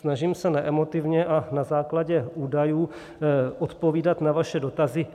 Snažím se neemotivně a na základě údajů odpovídat na vaše dotazy.